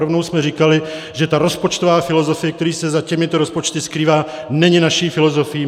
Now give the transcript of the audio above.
Rovnou jsme říkali, že ta rozpočtová filozofie, která se za těmito rozpočty skrývá, není naší filozofií.